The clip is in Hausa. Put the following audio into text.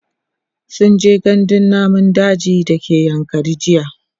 sunje gandun namun daji da ke yankari jiya